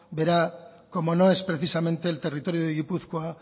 verá como no es precisamente el territorio de gipuzkoa